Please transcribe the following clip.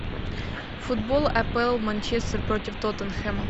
футбол апл манчестер против тоттенхэма